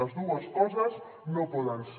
les dues coses no poden ser